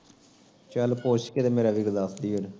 ਚੱਲ ਪੁੱਛ ਕੇ ਤੇ ਮੇਰਾ ਵੀਰ ਦੱਸ ਦੇਹੀ ਉਹਨੂੰ